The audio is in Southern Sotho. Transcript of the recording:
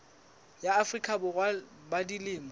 ya afrika borwa ba dilemo